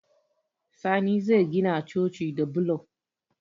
Sani zai gina coci da bulo